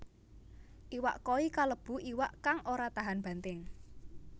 Iwak koi kalebu iwak kang ora tahan banting